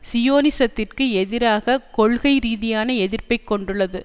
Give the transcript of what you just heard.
சியோனிசத்துக்கு எதிராக கொள்கை ரீதியான எதிர்ப்பை கொண்டுள்ளது